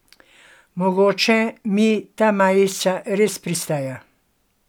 Mogoče mi ta majica res pristaja.